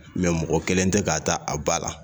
mɔgɔ kelen tɛ k'a ta a ba la